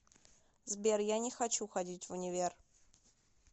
сбер я не хочу ходить в универ